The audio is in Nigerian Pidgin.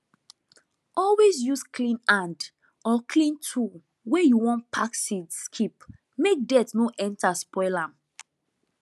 always use clean hand or clean tool when you wan pack seeds keep make dirt no enter spoil am